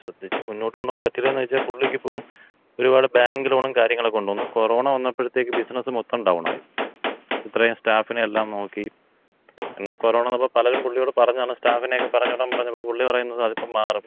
ശ്രദ്ധിച്ച് മുന്നോട്ടുകൊണ്ടുപോകാമ്പറ്റൂലേന്ന് ചോദിച്ചാ പുള്ളിക്കിപ്പോ ഒരുപാട് ബാങ്ക് ലോണും കാര്യങ്ങളുക്കെയൊണ്ട്. ഒന്ന് കൊറോണ വന്നപ്പോഴത്തേയ്ക്ക് ബിസിനസ് മൊത്തം ഡൗണായി. ഇത്രേം സ്റ്റാഫിനെയെല്ലാം നോക്കി. എന്നാ കൊറോണ വന്നപ്പോ പലരും പുള്ളിയോട് പറഞ്ഞതാണ് സ്റ്റാഫിനെക്ക പറഞ്ഞ് വിടാമ്പറഞ്ഞപ്പൊ പുള്ളി പറഞ്ഞത് "ഇല്ല, അതിപ്പോ മാറും